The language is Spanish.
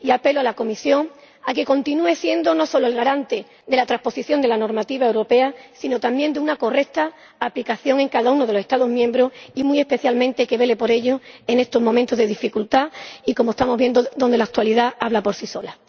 Apelo a la Comisión a que continúe siendo no solo la garante de la transposición de la normativa europea sino también de su correcta aplicación en cada uno de los Estados miembros y, muy especialmente, a que vele por ello en estos momentos de dificultad, en los que la actualidad habla por sí sola.